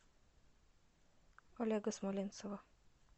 олега смоленцева